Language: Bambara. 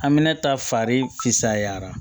Hami ta fari fisayara